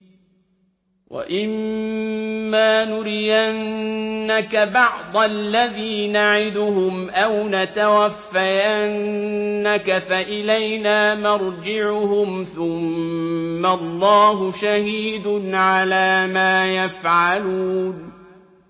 وَإِمَّا نُرِيَنَّكَ بَعْضَ الَّذِي نَعِدُهُمْ أَوْ نَتَوَفَّيَنَّكَ فَإِلَيْنَا مَرْجِعُهُمْ ثُمَّ اللَّهُ شَهِيدٌ عَلَىٰ مَا يَفْعَلُونَ